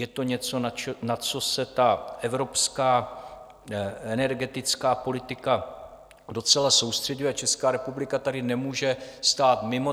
Je to něco, na co se ta evropská energetická politika docela soustřeďuje, a Česká republika tady nemůže stát mimo.